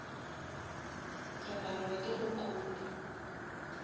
re palelwa ke go copa